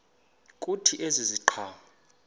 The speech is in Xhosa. kuthi ezi ziqhamo